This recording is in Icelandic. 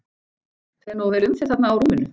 Fer nógu vel um þig þarna á rúminu?